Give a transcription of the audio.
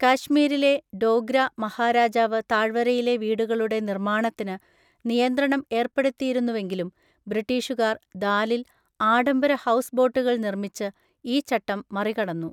കാശ്മീരിലെ ഡോഗ്ര മഹാരാജാവ് താഴ്വരയിലെ വീടുകളുടെ നിർമ്മാണത്തിന് നിയന്ത്രണം ഏർപ്പെടുത്തിയിരുന്നുവെങ്കിലും ബ്രിട്ടീഷുകാർ ദാലിൽ ആഡംബര ഹൗസ് ബോട്ടുകൾ നിർമ്മിച്ച് ഈ ചട്ടം മറികടന്നു.